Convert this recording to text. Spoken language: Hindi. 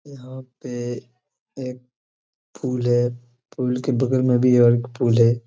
यहां पे एक फूल है फूल के बगल में भी और एक फूल है।